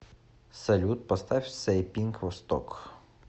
салют поставь сэйпинк восток